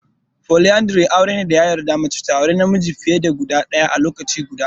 Foliyandri tsarin aure ne da ya yarda mace ta aure namiji fiye da ɗaya a lokaci guda.